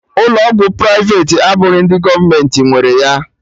Ụlọ ọgwụ privati abụghị ndị gọọmenti nwere ya